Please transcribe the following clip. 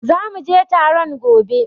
Zu muje taron gobe